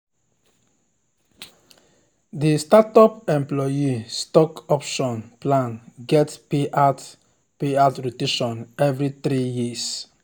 di startup employee stock option plan get payout payout rotation every three years.